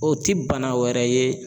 O ti bana wɛrɛ ye.